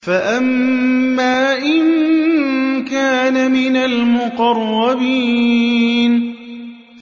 فَأَمَّا إِن كَانَ مِنَ الْمُقَرَّبِينَ